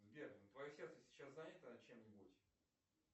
сбер твое сердце сейчас занято чем нибудь